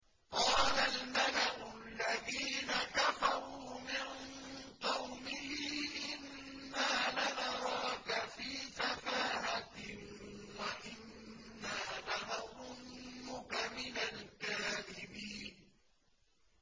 قَالَ الْمَلَأُ الَّذِينَ كَفَرُوا مِن قَوْمِهِ إِنَّا لَنَرَاكَ فِي سَفَاهَةٍ وَإِنَّا لَنَظُنُّكَ مِنَ الْكَاذِبِينَ